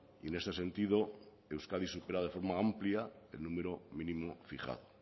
y en este sentido euskadi supera de forma amplia el número mínimo fijado